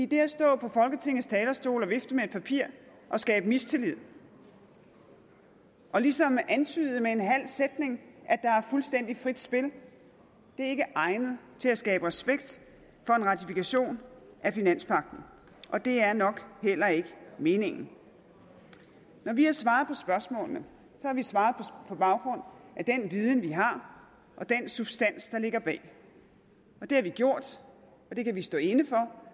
det at stå på folketingets talerstol og vifte med et papir og skabe mistillid og ligesom antyde med en halv sætning at der er fuldstændig frit spil er ikke egnet til at skabe respekt for en ratifikation af finanspagten og det er nok heller ikke meningen når vi har svaret på spørgsmålene så har vi svaret på baggrund af den viden vi har og den substans der ligger bag det har vi gjort og det kan vi stå inde for